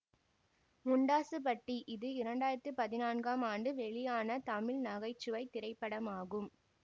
முண்டாசுப்பட்டி இது இரண்டு ஆயிரத்தி பதினான்காம் ஆண்டு வெளியான தமிழ் நகை சுவை திரைப்படம் ஆகும்